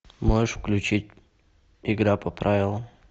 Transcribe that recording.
можешь включить игра по правилам